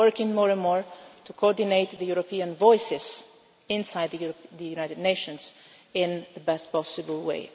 And we are working more and more to coordinate the European voices within the United Nations in the best possible